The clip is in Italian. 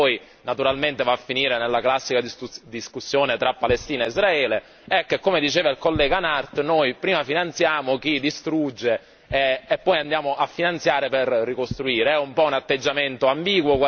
Però il paradosso di questa discussione, che poi naturalmente va a finire nella classica discussione tra Palestina e Israele, è che, come diceva il collega Nart, noi prima finanziamo chi distrugge e poi andiamo a finanziare per ricostruire.